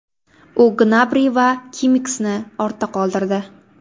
U Gnabri va Kimmixni ortda qoldirdi.